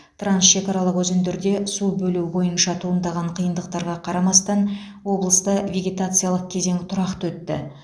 трансшекаралық өзендерде су бөлу бойынша туындаған қиындықтарға қарамастан облыста вегетациялық кезең тұрақты өтті